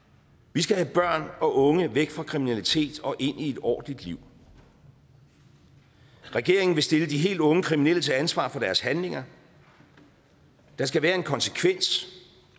vi skal have børn og unge væk fra kriminalitet og ind i et ordentligt liv regeringen vil stille de helt unge kriminelle til ansvar for deres handlinger der skal være en konsekvens